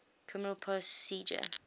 criminal procedure